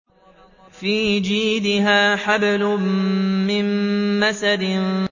فِي جِيدِهَا حَبْلٌ مِّن مَّسَدٍ